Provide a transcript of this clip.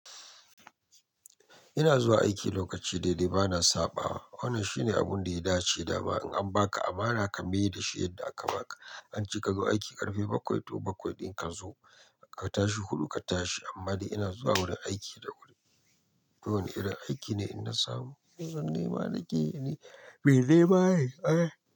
Ina zuwa aiki lokaci daidai bana saba. Wannan shine abun da ya dace da ma in an baka amana ka miye da shi yadda aka baka. An ce ka zo aiki ƙarfe bakwai to bakwai, din ka zo ka tashi huɗu ka tashi amma dai ina zuwa wurin aiki da wuri. Duk wan irin aiki ne in na samu. Kunsan ne ma na ke yi ne. Bai dai ba yi. Eh.